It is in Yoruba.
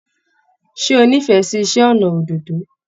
Ṣé o n'ifẹ sí iṣẹ ọnà òdòdó?